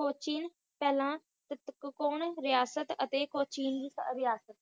ਕੋਚੀਨ ਪਹਿਲਾਂ ਸਟਕੋਣ ਰਿਆਸਤ ਅਤੇ ਕੋਚੀਨ ਰਿਆਸਤ